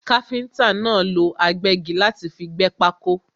Káfíntà náà lọ agbẹ́gi láti fi gbẹ́ pákó.